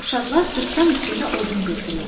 Uşaqlar Cırtdan üçün də odun yığdılar.